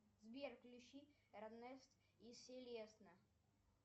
сбер включи эрнест и селесна